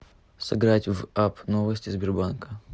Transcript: сыграть в апп новости сбербанка